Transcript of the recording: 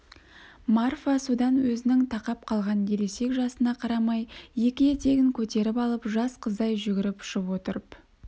марфа содан өзінің тақап қалған ересек жасына қарамай екі етегін көтеріп алып жас қыздай жүгіріп ұшып отырып